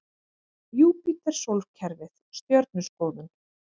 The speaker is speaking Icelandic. Júpíter Sólkerfið Stjörnuskoðun.